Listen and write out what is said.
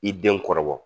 I den kɔrɔbɔ